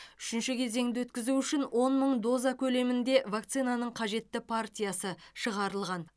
үшінші кезеңді өткізу үшін он мың доза көлемінде вакцинаның қажетті партиясы шығарылған